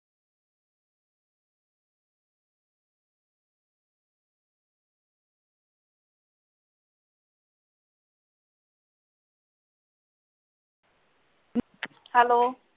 hello